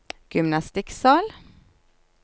gymnastikksal